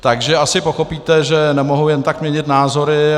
Takže asi pochopíte, že nemohu jen tak měnit názory.